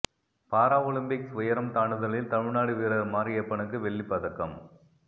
பாரா Olympics உயரம் தாண்டுதலில் தமிழ்நாடு வீரர் மாரியப்பனுக்கு வெள்ளிப் பதக்கம்